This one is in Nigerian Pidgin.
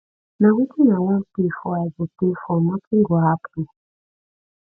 na wetin i wan pay for i go pay for nothing go happen